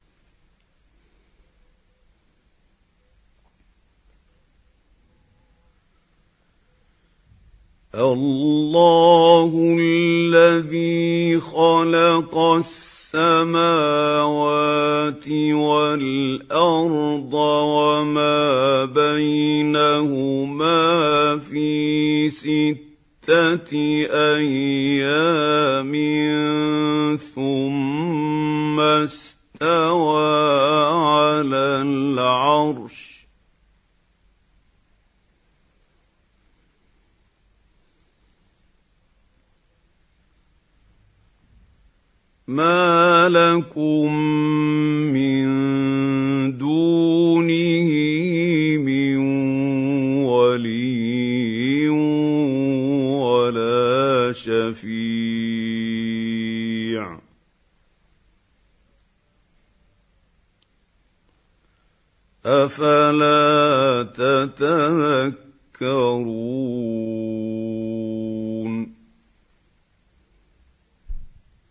اللَّهُ الَّذِي خَلَقَ السَّمَاوَاتِ وَالْأَرْضَ وَمَا بَيْنَهُمَا فِي سِتَّةِ أَيَّامٍ ثُمَّ اسْتَوَىٰ عَلَى الْعَرْشِ ۖ مَا لَكُم مِّن دُونِهِ مِن وَلِيٍّ وَلَا شَفِيعٍ ۚ أَفَلَا تَتَذَكَّرُونَ